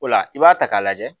O la i b'a ta k'a lajɛ